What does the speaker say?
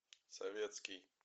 советский